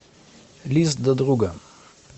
лист до друга